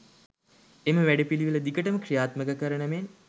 එම වැඩපිළිවෙල දිගටම ක්‍රියාත්මක කරන මෙන්